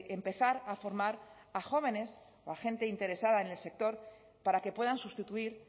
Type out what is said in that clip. empezar a formar a jóvenes o a gente interesada en el sector para que puedan sustituir